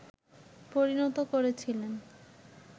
পরিণত করেছিলেন